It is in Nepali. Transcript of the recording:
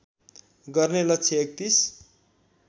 गर्ने लक्ष्य ३१